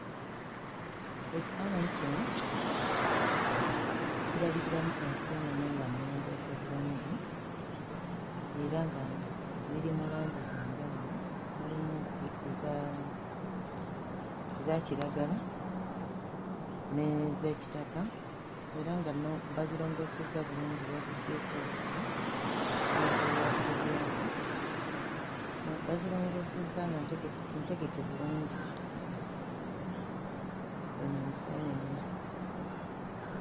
Ekifaananyi kino kirabikiramu enseenene nga nnongoose bulungi era nga ziri mu langi za njawulo; mulimu eza eza kiragala n'ez'ekitaka era nga no bazirongoosezza bulungi baziggyeeko obugulu n'ebiwaawaatiro byazo. Bazirongoosezza nga ntege ntegeke bulungi, zino enseenene.